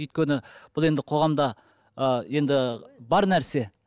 өйткені бұл енді қоғамда ы енді бар нәрсе